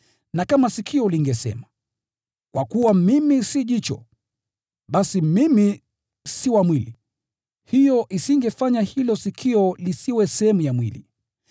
Na kama sikio lingesema, “Kwa kuwa mimi si jicho, basi mimi si wa mwili,” hiyo isingefanya hilo sikio lisiwe sehemu ya mwili.